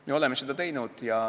Me oleme seda teinud.